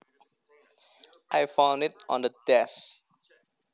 I found it on the desk